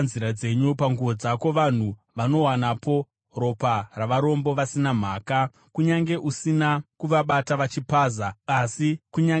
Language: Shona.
Panguo dzako vanhu vanowanapo ropa ravarombo vasina mhaka, kunyange usina kuvabata vachipaza. Asi kunyange zvakadaro